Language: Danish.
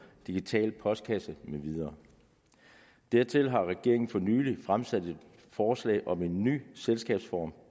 digital postkasse med videre dertil har regeringen for nylig fremsat et forslag om en ny selskabsform